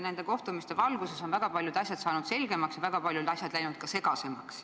Nende kohtumiste valguses on väga paljud asjad saanud selgemaks, aga väga paljud asjad on läinud ka segasemaks.